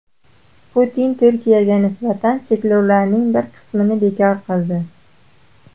Putin Turkiyaga nisbatan cheklovlarning bir qismini bekor qildi.